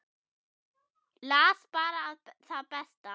Las bara það besta.